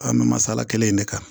An bɛ masala kelen in de kan